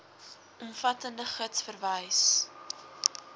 omvattende gids verwys